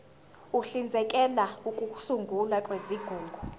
uhlinzekela ukusungulwa kwezigungu